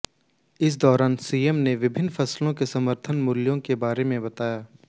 इस दौरान सीएम ने विभिन्न फसलों के समर्थन मूल्य के बारे में बताया